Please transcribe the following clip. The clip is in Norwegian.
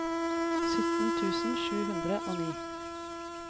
sytten tusen sju hundre og ni